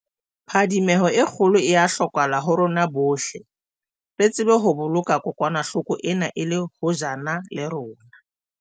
Phadimeho e kgolo e a hlokeha ho rona bohle, re tsebe ho boloka kokwanahlo ko ena e le hojana le rona.